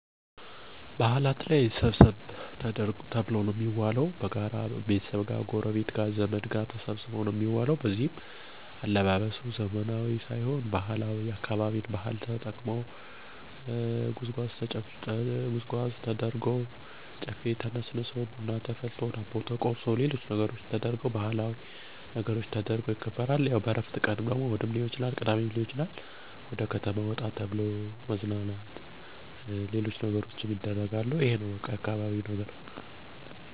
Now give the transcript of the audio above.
በበአል ባህላዊ አለባበስ እና ከ ቤተዘመድ ጋር እዉላለሁ ቅዳሜ እና እሁድ ከጓደኞቼ ጋር እረፍት እያደረኩ መዝናኛ ቦታ በመሄድ ክረምት ወይም ዝናባማ ቀን ወፈር ያለ ልብስ ለብሼ ስራየን አከናዉናለሁ።